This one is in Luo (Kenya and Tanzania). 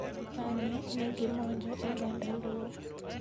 Bang'e ne gimonjo oganda Luo.